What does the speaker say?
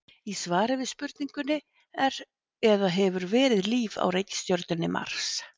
Í svari við spurningunni Er eða hefur verið líf á reikistjörnunni Mars?